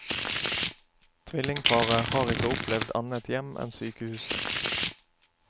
Tvillingparet har ikke opplevd annet hjem enn sykehuset.